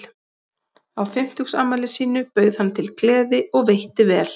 Á fimmtugsafmæli sínu bauð hann til gleði og veitti vel.